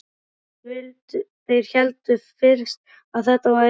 Þeir héldu fyrst að þetta væri kannski